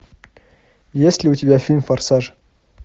есть ли у тебя фильм форсаж